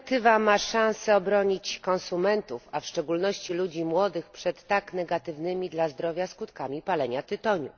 Ta dyrektywa ma szansę uchronić konsumentów, a w szczególności ludzi młodych, przed jakże negatywnymi dla zdrowia skutkami palenia tytoniu.